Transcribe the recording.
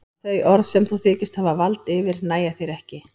Að þau orð sem þú þykist hafa vald yfir nægja þér ekki.